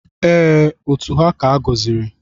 Ee, otu ha ka-agọziri.